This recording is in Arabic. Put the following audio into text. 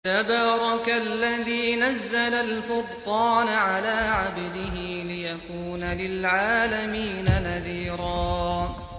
تَبَارَكَ الَّذِي نَزَّلَ الْفُرْقَانَ عَلَىٰ عَبْدِهِ لِيَكُونَ لِلْعَالَمِينَ نَذِيرًا